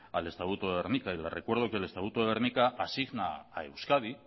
al estatuto de gernika y le recuerdo que el estatuto de gernika asigna a euskadi